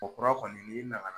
Ɔ kura kɔni n'i nana